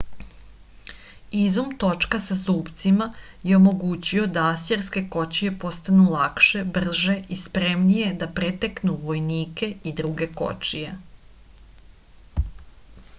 izum točka sa zupcima je omogućio da asirske kočije postanu lakše brže i spremnije da preteknu vojnike i druge kočije